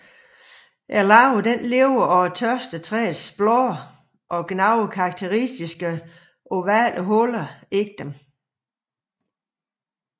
Larven lever af tørstetræets blade og gnaver karakteristiske ovale huller i dem